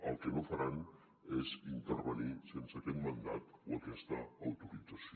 el que no faran és intervenir sense aquest mandat o aquesta autorització